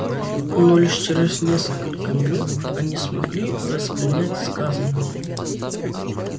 но лишь через несколько минут они смогли воспринять сказанное